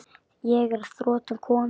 Ég er að þrotum kominn.